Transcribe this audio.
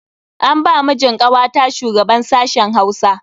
An ba mijin kawata shugaban sashen Hausa.